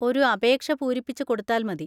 ഒരു അപേക്ഷ പൂരിപ്പിച്ച് കൊടുത്താൽ മതി.